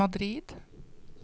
Madrid